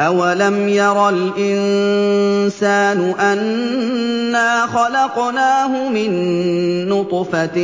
أَوَلَمْ يَرَ الْإِنسَانُ أَنَّا خَلَقْنَاهُ مِن نُّطْفَةٍ